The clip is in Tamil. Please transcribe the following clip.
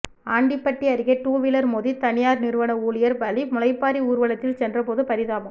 ஆண்டிபட்டி அருகே டூவீலர் மோதி தனியார் நிறுவன ஊழியர் பலி முளைப்பாரி ஊர்வலத்தில் சென்ற போது பரிதாபம்